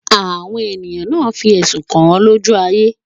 Àwọn ènìyàn náà fí ẹ̀sùn kàń lójú ayé